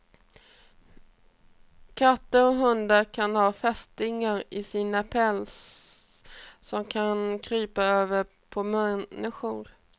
Katter och hundar kan ha fästingar i sin päls, som kan krypa över på människor.